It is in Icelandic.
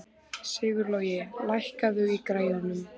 Sigurlogi, lækkaðu í græjunum.